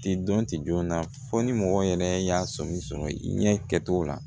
Ti dɔn ti jɔn na fɔ ni mɔgɔ yɛrɛ y'a sɔmi sɔrɔ i ɲɛ kɛcogo la